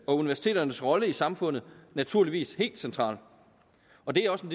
og universiteternes rolle i samfundet naturligvis helt centralt og det er også